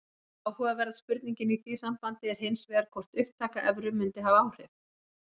Áhugaverða spurningin í því sambandi er hins vegar hvort upptaka evru mundi hafa áhrif.